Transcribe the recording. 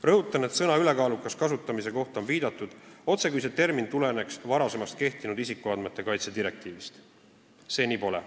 Rõhutan, et sõna "ülekaalukas" kasutamise kohta on viidatud, otsekui tuleneks see termin varem kehtinud isikuandmete kaitse direktiivist, aga nii see pole.